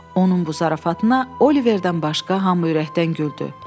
Onun bu zarafatına Oliverdən başqa hamı ürəkdən güldü.